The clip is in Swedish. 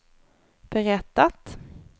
berättat